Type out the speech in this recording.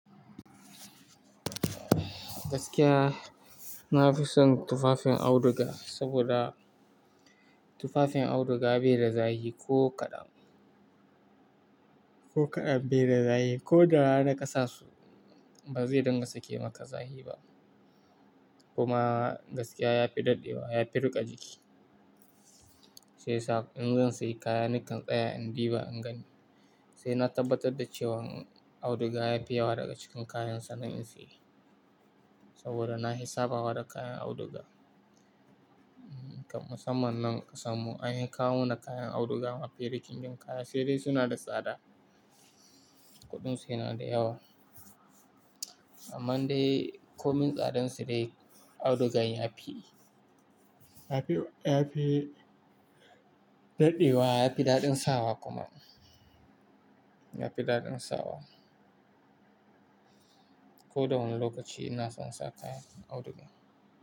Gaskiya na fi son tufafin auduga saboda tufafin auduga bai da zahi ko kaɗan, ko kaɗan bai da zahi ko da hana ƙasa su ba zai dinga sake maka zahi ba. Kuma gaskiya ya fi daɗewa, ya fi riƙa jiki. Sai sa in zan sayi kaya nikan tsaya in diba in gani. Sai na tabbatar da cewan auduga yafi yawa daga cikin kayan sannan in sayi. Saboda na fi sabawa da kayan auduga. Kam musamman nan ƙasan mu anfi kawo na kayan auduga mafi rikicin kaya, sai dai suna da tsada. Kuɗin su yana da yawa. Amma dai komin tsadan su dai audugan yafi, yafi, yafi daɗewa yafi daɗin sawa kuma. Yafi daɗin sawa. Ko da wani lokaci ina son sa kayan auduga.